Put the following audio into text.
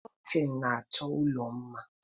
Kọtịn na-achọ ụlọ mma.